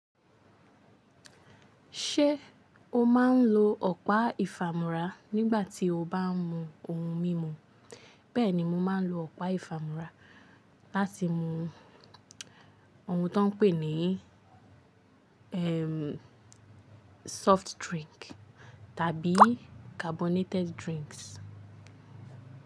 Ṣé o máa ń lo ọ̀pá ìfàmú́ra nígbà tí o bá ń mu ohun mímu? Bẹ́ẹ̀ni, mo máa ń lo ọ̀pá ìfàmú́ra láti mu ohun tó ń pè ní ẹ́ẹ́ soft drink tàbí carbonated drinks.